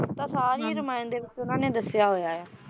ਤਾਂ ਸਾਰੀ ਰਮਾਇਣ ਦੇ ਵਿੱਚ ਉਹਨਾਂ ਨੇ ਦੱਸਿਆ ਹੋਇਆ ਆ